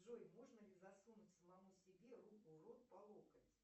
джой можно ли засунуть самому себе руку в рот по локоть